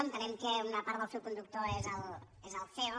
entenem que una part del fil conductor és el ceo